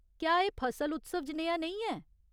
क्या एह् फसल उत्सव जनेहा नेईं ऐ ?